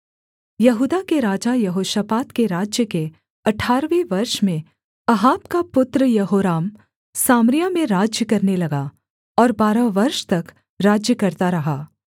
यहूदा के राजा यहोशापात के राज्य के अठारहवें वर्ष में अहाब का पुत्र यहोराम सामरिया में राज्य करने लगा और बारह वर्ष तक राज्य करता रहा